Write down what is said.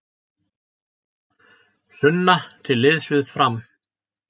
Sunna til liðs við Fram